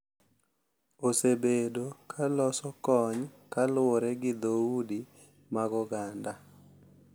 Osebedo ka loso kony kaluwore gi dhoudi mag oganda.